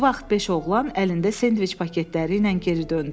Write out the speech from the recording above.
Bu vaxt beş oğlan əlində sendviç paketləri ilə geri döndü.